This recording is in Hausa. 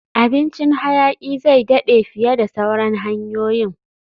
Abincin hayaki zai daɗe fiye da sauran hanyoyin